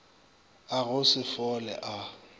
a go se fole a